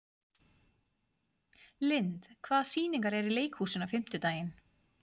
Lynd, hvaða sýningar eru í leikhúsinu á fimmtudaginn?